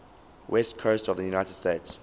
west coast of the united states